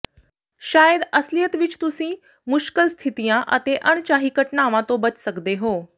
ਸ਼ਾਇਦ ਅਸਲੀਅਤ ਵਿੱਚ ਤੁਸੀਂ ਮੁਸ਼ਕਲ ਸਥਿਤੀਆਂ ਅਤੇ ਅਣਚਾਹੀ ਘਟਨਾਵਾਂ ਤੋਂ ਬਚ ਸਕਦੇ ਹੋ